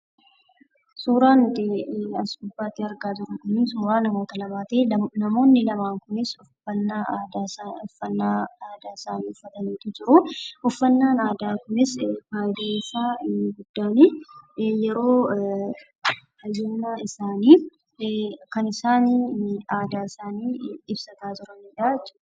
Suuraan nuti as gubbaatti argaa jirru kunii, suuraa namoota lamaatii. Namoonni lamaan kunis uffannaa aadaa isaanii uffataniitu jiruu. Uffannaan aadaa kunis fayidaan isaa inni guddaanii yeroo fayyummaan isaanii kan isaan aadaa ibsataa jiranidhaa jechuudha isaanii